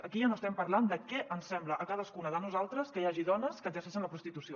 aquí ja no estem parlant de què ens sembla a cadascuna de nosaltres que hi hagi dones que exerceixen la prostitució